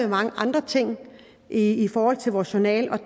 mange andre ting i forhold til vores journaler